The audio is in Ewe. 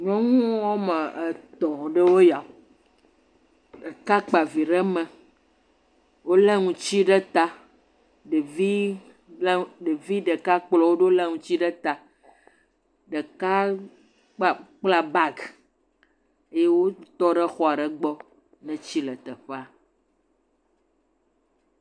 Nyɔnŋuwo woame etɔ̃ aɖewoe ya, ɖeka kpa vi ɖe me, wolé ŋuti ɖe ta, ɖevi.. ɖevi ɖeka kplɔ wo ɖo lé ŋuti ɖe ta, ɖeka kpla bag yee wotɔ ɖe xɔa ɖe gbɔ, etsi le teƒea.